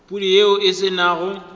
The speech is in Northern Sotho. pudi yeo e se nago